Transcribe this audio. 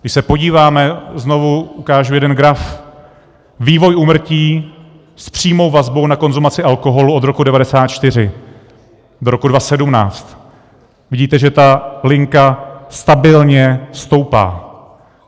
Když se podíváme - znovu ukážu jeden graf - vývoj úmrtí s přímou vazbou na konzumaci alkoholu od roku 1994 do roku 2017 - vidíte, že ta linka stabilně stoupá.